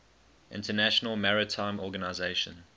international maritime organization